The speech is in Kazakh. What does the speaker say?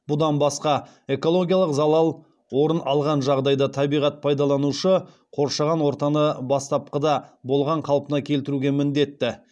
бұдан басқа экологиялық залал орын алған жағдайда табиғат пайдаланушы қоршаған ортаны бастапқыда болған қалпына келтіруге міндетті